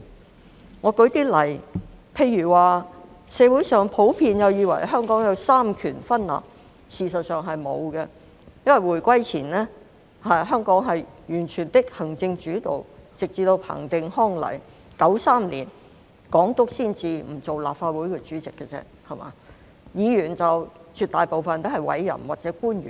讓我舉一些例子，社會上普遍以為香港有三權分立，事實上，是沒有的，因為回歸前，香港是完全的行政主導，直至彭定康來港 ，1993 年港督才不擔任立法局主席而已，議員絕大部分均是委任或由官員擔任。